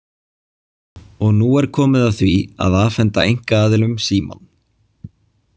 Og því er nú komið að því að afhenda einkaaðilum Símann.